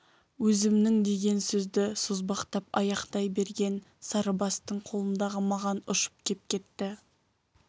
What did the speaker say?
өзімнің деген сөзді созбақтап аяқтай берген сарыбастың қолындағы маган ұшып кеп кетті